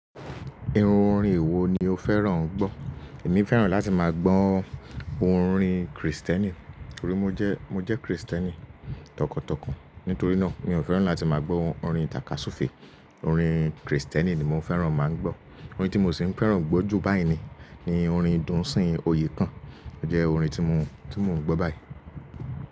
Irú orin wo ni o fẹ́ràn gbọ́? Èmi fẹ́ràn láti máa gbọ́ orin Kristẹ́ni. Torí mo jẹ́, mo jẹ́ Kristẹ́ni tọkàntọkàn. Nítorí náà mi ò fẹ́ràn láti máa gbọ́ orin tàkasúfèé. Orin Kristẹ́ni ni mo fẹ́ràn máa ń gbọ́. Orin tí mo sì ń fẹ́ràn gbọ́ jù báyìí ni, ni orin Dùnsín Oyekan. Ó jẹ́ orin tí mo, tí mo ń gbọ́ báyìí.